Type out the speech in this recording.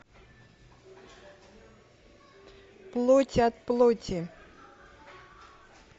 плоть от плоти